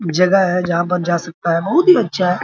जगह है जहां पर जा सकता है बहुत ही अच्छा है।